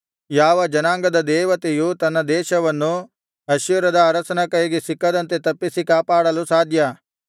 ಯಾವ ಜನಾಂಗದ ದೇವತೆಯು ತನ್ನ ದೇಶವನ್ನು ಅಶ್ಶೂರದ ಅರಸನ ಕೈಗೆ ಸಿಕ್ಕದಂತೆ ತಪ್ಪಿಸಿ ಕಾಪಾಡಲು ಸಾಧ್ಯ